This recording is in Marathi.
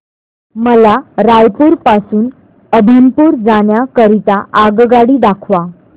मला रायपुर पासून अभनपुर जाण्या करीता आगगाडी दाखवा